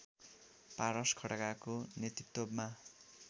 पारस खड्काको नेतृत्वमा